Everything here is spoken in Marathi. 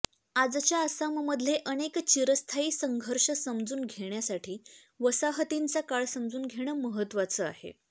आजच्या आसाममधले अनेक चिरस्थायी संघर्ष समजून घेण्यासाठी वसाहतींचा काळ समजून घेणं महत्त्वाचं आहे